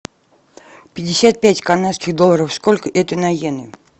пятьдесят пять канадских долларов сколько это на йены